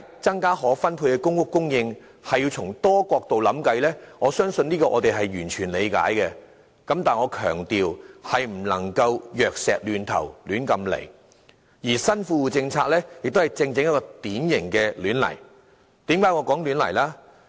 增加可分配的公屋供應，須從多個角度想辦法，這點我們完全理解，但我想強調，當局總不能輕率行事，而新富戶政策亦便正正是一個輕率行事的典型例子。